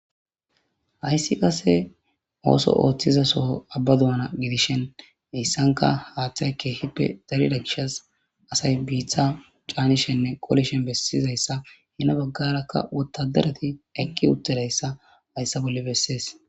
Haysi qase Ooso oothiza Soho Abba doona godishin hausanka hathay kehipe darida gishas asay bitta canishenne qolishen duma bessizaysa hemi bagaraka wotadarati eqi uttidaysa haysa boli besses